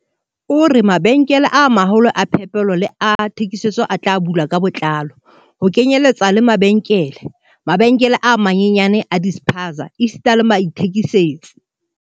O re, "Mabenkele a ma-holo a phepelo le a thekiso a tla bulwa ka botlalo, ho kenyeletswa le mabenkele, mabenkele a manyenyane a di-spaza esita le baithekisetsi."